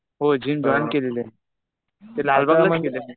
होय. Gym join केलेली. इथे लालबागलाच केलेली.